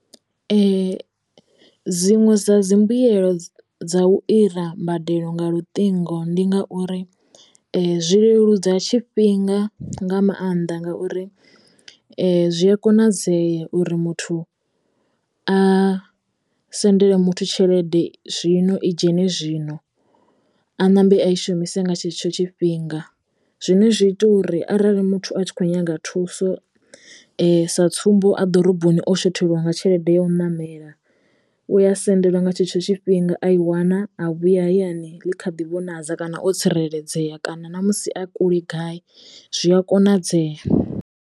Dziṅwe dza dzi mbuyelo dza u ira mbadelo nga luṱingo ndi ngauri zwi leludza tshifhinga nga maanḓa ngauri zwi a konadzea uri muthu a sendele muthu tshelede zwino i dzhene zwino a ṋambe a i shumise nga tshetsho tshifhinga zwine zwi ita uri arali muthu a tshi kho nyaga thuso sa tsumbo a ḓoroboni o shothelwa nga tshelede ya u ṋamela u a sendelwa nga tshetsho tshifhinga a i wana a vhuya hayani ḽi kha ḓi vhonadza kana o tsireledzeya kana namusi a kule gai zwi a konadzeya.